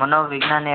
મનોવિજ્ઞાન એ